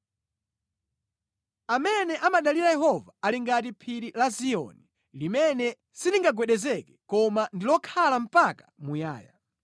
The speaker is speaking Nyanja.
Amene amadalira Yehova ali ngati phiri la Ziyoni, limene silingagwedezeke koma ndi lokhala mpaka muyaya.